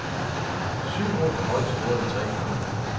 Syv mål har holdet scoret i tre kampe.